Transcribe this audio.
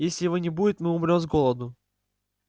если его не будет мы умрём с голоду